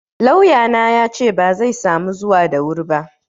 Lauyana yace bazai samu zuwa da wuri ba.